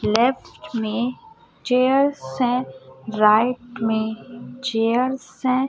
Left में chairs है right में चेयर्स है।